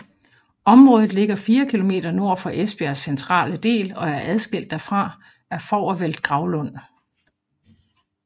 Området ligger fire kilometer nord for Esbjergs centrale del og er adskilt derfra af Fovrfeld Gravlund